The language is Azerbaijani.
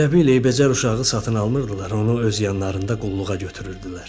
Elə bil eybəcər uşağı satın almırdılar, onu öz yanlarında qulluğa götürürdülər.